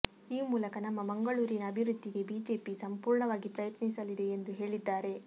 ಈ ಮೂಲಕ ನಮ್ಮ ಮಂಗಳೂರಿನ ಅಭಿವೃದ್ಧಿಗೆ ಬಿಜೆಪಿ ಸಂಪೂರ್ಣವಾಗಿ ಪ್ರಯತ್ನಿಸಲಿದೆ ಎಂದು ಹೇಳಿದ್ದಾರೆ